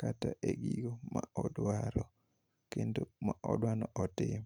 kata e yo modwaro kendo modwani otim.